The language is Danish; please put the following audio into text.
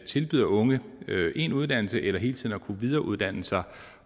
tilbyder unge en uddannelse eller hele tiden at kunne videreuddanne sig